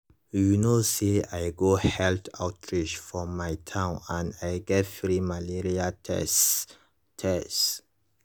you know say i go health outreach for my town and i get free malaria tests. tests.